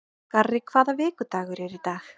Garri, hvaða vikudagur er í dag?